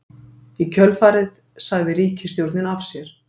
Í kjölfarið sagði ríkisstjórnin af sér